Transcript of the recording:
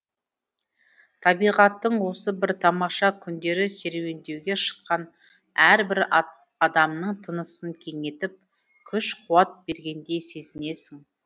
табиғаттың осы бір тамаша күндері серуендеуге шыққан әрбір адамның тынысын кеңейтіп күш қуат бергендей сезінесің